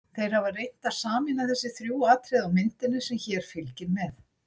Þeir hafa reynt að sameina þessi þrjú atriði á myndinni, sem fylgir hér með.